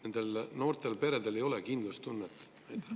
Ehk sellepärast noortel peredel ei olegi kindlustunnet?